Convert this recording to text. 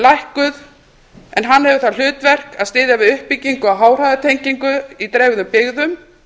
lækkuð en hann hefur það hlutverk að styðja við uppbyggingu háhraðatengingar í dreifðum byggðum